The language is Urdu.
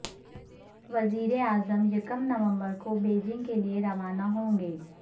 وزیراعظم یکم نومبر کو بیجنگ کےلئے روانہ ہوں گے